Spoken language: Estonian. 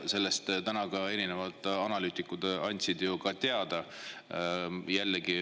Sellest andsid täna ka erinevad analüütikud teada.